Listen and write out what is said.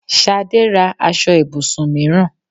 Ṣadé ra aṣọ ibùsùn mìíràn.